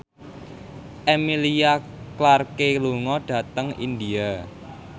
Emilia Clarke lunga dhateng India